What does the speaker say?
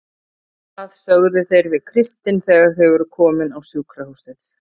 Það sögðu þeir við Kristin þegar þau voru komin á sjúkrahúsið.